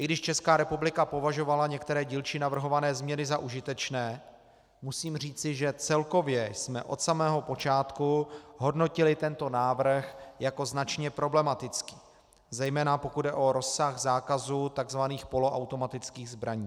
I když Česká republika považovala některé dílčí navrhované změny za užitečné, musím říci, že celkově jsme od samého počátku hodnotili tento návrh jako značně problematický, zejména pokud jde o rozsah zákazu tzv. poloautomatických zbraní.